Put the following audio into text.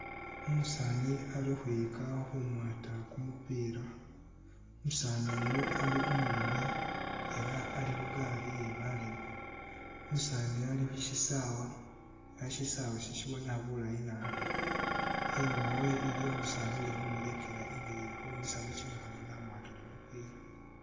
Umusaani ali ukhwiyika khumwaata kumupiila, umusaani uyu ali umuleme ela ali khu gari ye baaleme. Umusaani uyu ali khu khusyisawa ela syisawe isi sibonekha bulayi nabi. Inyuuma we iliwo umusaani uli khumulekela ingeli ye khukhumisamu kimikhono ne wamwata kumupiila